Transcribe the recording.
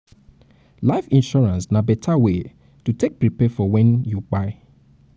life insurance na better wey to take prepare for when you kpai